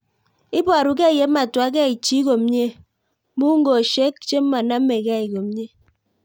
Iparukei ye matwakei chii komie ,mungoshek che manamkei komie